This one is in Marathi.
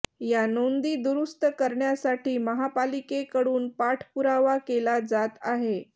या नोंदी दुरुस्त करण्यासाठी महापालिकेकडून पाठपुरावा केला जात आहे